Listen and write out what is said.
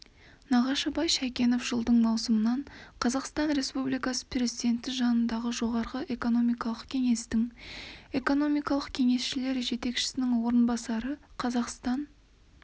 нағашыбай шайкенов жылдың маусымынан қазақстан республикасы президенті жанындағы жоғары экономикалық кеңестің экономикалық кеңесшілер жетекшісінің орынбасары қазақстан